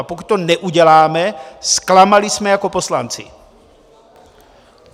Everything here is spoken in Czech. A pokud to neuděláme, zklamali jsme jako poslanci!